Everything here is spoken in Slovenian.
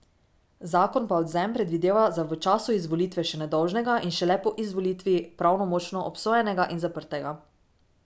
Zakon pa odvzem predvideva za v času izvolitve še nedolžnega in šele po izvolitvi pravnomočno obsojenega in zaprtega.